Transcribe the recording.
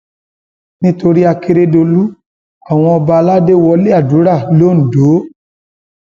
nítorí àkèrèdòlù àwọn ọba aládé wọlé àdúrà londo